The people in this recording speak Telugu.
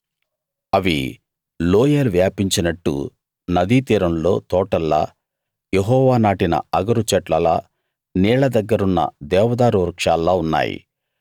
అవి లోయలు వ్యాపించినట్టు నదీతీరంలో తోటల్లా యెహోవా నాటిన అగరు చెట్లలా నీళ్ళ దగ్గరున్న దేవదారు వృక్షాల్లా ఉన్నాయి